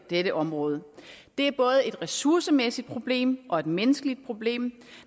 dette område det er både et ressourcemæssigt problem og et menneskeligt problem